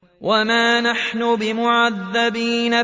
وَمَا نَحْنُ بِمُعَذَّبِينَ